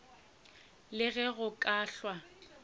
le ge go ka hlwa